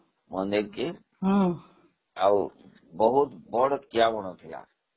ମନ୍ଦିରକୁ, ଆଉ ବହୁତ ବଡ଼ କିଆବଣ ଥିଲା